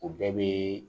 O bɛɛ bɛ